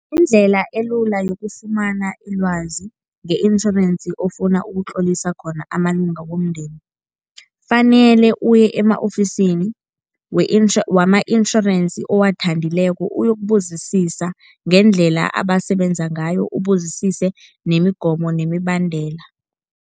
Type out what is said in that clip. Indlela elula yokufumana ilwazi nge-insurance ofuna ukutlolisa khona amalunga womndeni, fanele uye ema-ofisini we wama-insurance owathandileko uyokubuzisisa ngendlela abasebenza ngayo, ubuzisise nemigomo nemibandela.